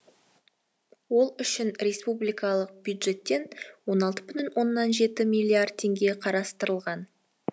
ол үшін республикалық бюджеттен он алты бүтін оннан жеті миллиард теңге қарастырылған